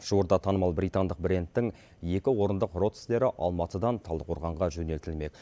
жуырда танымал британдық брендтің екі орындық родстері алматыдан талдықорғанға жөнелтілмек